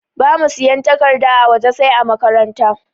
Bamu siyan takarda a waje sai ã makaranta.